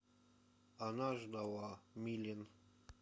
она ждала милен